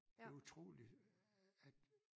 Det utroligt at